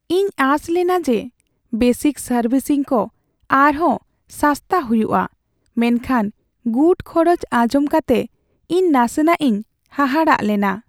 ᱤᱧ ᱟᱸᱥ ᱞᱮᱱᱟ ᱡᱮ ᱵᱮᱥᱤᱠ ᱥᱟᱨᱵᱷᱤᱥᱤᱝ ᱠᱚ ᱟᱨᱦᱚᱸ ᱥᱟᱥᱛᱟ ᱦᱩᱭᱩᱜᱼᱟ, ᱢᱮᱱᱠᱷᱟᱱ ᱜᱩᱴ ᱠᱷᱚᱨᱚᱪ ᱟᱧᱡᱚᱢ ᱠᱟᱛᱮ ᱤᱧ ᱱᱟᱥᱮᱱᱟᱜ ᱤᱧ ᱦᱟᱦᱟᱲᱟᱜ ᱞᱮᱱᱟ ᱾